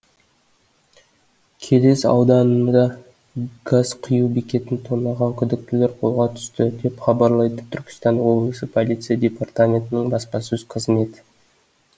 келес ауданында газ құю бекетін тонаған күдіктілер қолға түсті деп хабарлайды түркістан облысы полиция департаментінің баспасөз қызметі